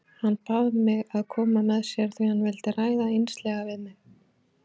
Hann bað mig að koma með sér því hann vildi ræða einslega við mig.